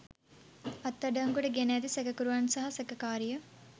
අත්අඩංගුවට ගෙන ඇති සැකකරුවන් සහ සැකකාරිය